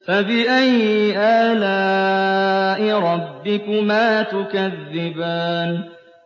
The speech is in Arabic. فَبِأَيِّ آلَاءِ رَبِّكُمَا تُكَذِّبَانِ